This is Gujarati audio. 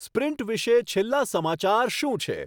સ્પ્રિન્ટ વિષે છેલ્લા સમાચાર શું છે